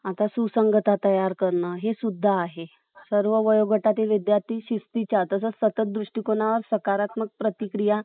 आता सुसंगता तयार करण , हे सुद्धा आहे. सर्व वयोगटातील विद्यार्थी शिस्तीच्या आणि सतत दृष्टिकोनात सकारात्मक प्रतिक्रिया ,